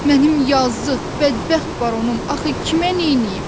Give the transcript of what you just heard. Mənim yazıq, bədbəxt baronum axı kimə neyniyib?